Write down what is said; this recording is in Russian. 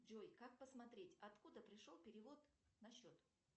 джой как посмотреть откуда пришел перевод на счет